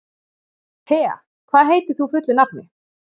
Thea, hvað heitir þú fullu nafni?